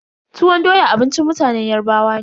Tuwon doya abincin mutanen Yarbawa ne.